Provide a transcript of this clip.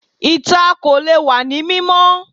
Ìta kò lè wá ní mímọ́